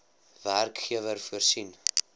werkgewer voorsien